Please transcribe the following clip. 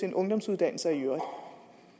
en ungdomsuddannelse og